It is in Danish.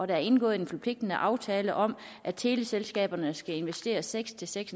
er indgået en forpligtende aftale om at teleselskaberne skal investere seks seks